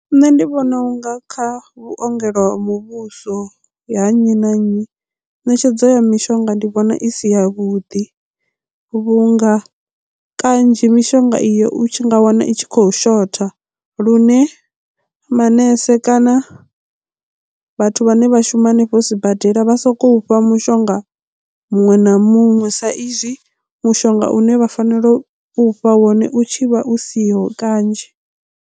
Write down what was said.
Nṋe ndi vhona unga kha vhuongelo ha muvhuso ya nnyi na nnyi ṋetshedzo ya mishonga ndi vhona i si ya vhuḓi vhunga kanzhi mishonga iyo u tshi nga wana i tshi khou shotha lune manese kana vhathu vhane vha shuma hanefho sibadela vha sokou fha mishonga muṅwe na muṅwe sa izwi mushonga une vha fanela u fha wone u tshi vha u siho kanzhi.